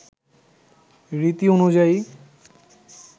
রীতি অনুযায়ী